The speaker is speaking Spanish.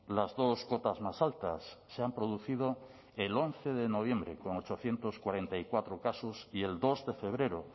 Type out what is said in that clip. las dos cotas más altas se han producido el once de noviembre con ochocientos cuarenta y cuatro casos y el dos de febrero